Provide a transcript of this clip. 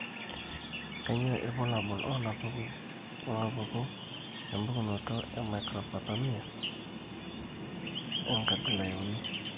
Kainyio irbulabul onaapuku empukunoto emicrophthalmia, enkabila euni?